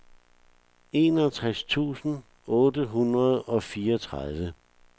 enogtres tusind otte hundrede og fireogtredive